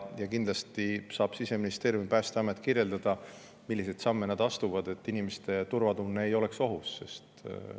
Kindlasti saavad Siseministeerium ja Päästeamet kirjeldada, milliseid samme nad astuvad, et inimeste turvatunne ei oleks ohus.